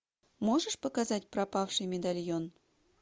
можешь показать пропавший медальон